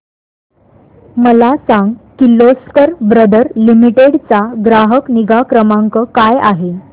मला सांग Kirloskar brother limited चा ग्राहक निगा क्रमांक काय आहे